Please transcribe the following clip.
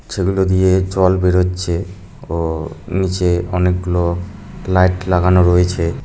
সেগুলো দিয়ে জল বেড়োচ্ছে ও নিচে অনেকগুলো লাইট লাগানো রয়েছে।